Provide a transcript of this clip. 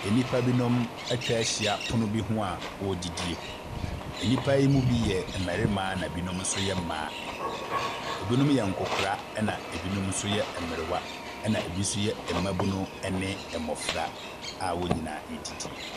Nnipa binom atwa ahyia pono bi ho a wɔredidi. Nnipa yi mu bi mmarima na ebinom nso mmaa. Ebinom nkwakora na ebinom yɛ mmerewa, na ebi nso yɛ mmabunu, ɛne mmɔfra a wɔnyinaa redidi.